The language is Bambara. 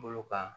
Bolo kan